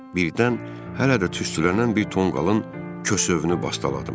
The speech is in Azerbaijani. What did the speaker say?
Birdən hələ də tüstülənən bir tonqalın kəsövünü bastaladım.